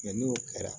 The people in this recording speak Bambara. n'o kɛra